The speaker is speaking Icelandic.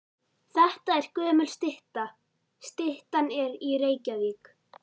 Þetta er gömul stytta. Styttan er í Reykjavík.